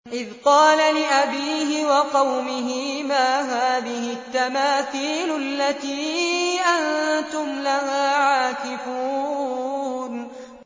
إِذْ قَالَ لِأَبِيهِ وَقَوْمِهِ مَا هَٰذِهِ التَّمَاثِيلُ الَّتِي أَنتُمْ لَهَا عَاكِفُونَ